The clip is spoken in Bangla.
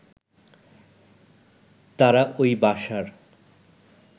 তারা ওই বাসার